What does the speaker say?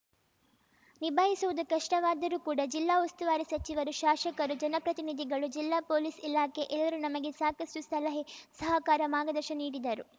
ನಿಭಾಯಿಸುವುದು ಕಷ್ಟವಾದರೂ ಕೂಡ ಜಿಲ್ಲಾ ಉಸ್ತುವಾರಿ ಸಚಿವರು ಶಾಸಕರು ಜನಪ್ರತಿನಿಧಿಗಳು ಜಿಲ್ಲಾ ಪೊಲೀಸ್‌ ಇಲಾಖೆ ಎಲ್ಲರೂ ನಮಗೆ ಸಾಕಷ್ಟುಸಲಹೆ ಸಹಕಾರ ಮಾರ್ಗದರ್ಶನ ನೀಡಿದರು